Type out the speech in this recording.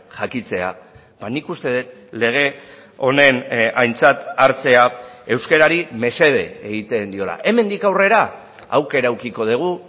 jakitea nik uste dut lege honen aintzat hartzea euskarari mesede egiten diola hemendik aurrera aukera edukiko dugu